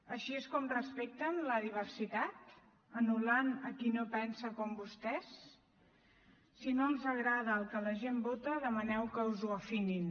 així és com respecten la diversitat anul·lant a qui no pensa com vostès si no els agrada el que la gent vota demaneu que us ho afinin